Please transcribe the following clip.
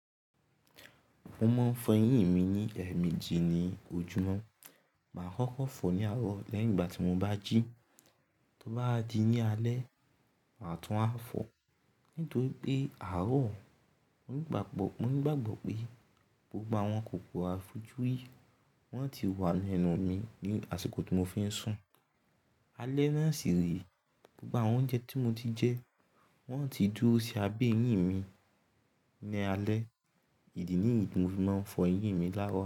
Mo máa ń fọ eyín mi ní ẹ̀ẹ̀meji ní ojúmọ́. Máa ń kọ́kó fọ̀ ní àárọ̀ lẹ́yìn ìgbà tí mo bá jí. Tó bá di ní alẹ́, màá tún á fọ̀. Nítorí pé àárọ̀, mo nígbàgbọ́, mo nígbàgbọ́ pé gbogbo àwọn kòkò afojúrí wọn ti wà nínú mi ní àsìkò tí mo fi ń sùn. Alẹ́ náà sì rèé, gbogbo àwọn oúnjẹ tí mo ti jẹ wọ́n á ti dúró sí abẹ́ eyín mi ní alẹ́. Ìdí nìyí tí mo fi máa ń fọ eyín mi láàárọ̀.